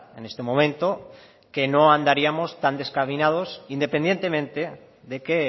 en este momento que no andaríamos tan desencaminados independientemente de que